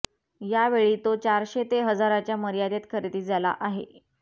यावेळी तो चारशे ते हजारच्या मर्यादेत खरेदी झाला आहे